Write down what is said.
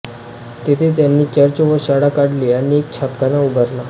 तेथे त्यांनी चर्च व शाळा काढली आणि एक छापखाना उभारला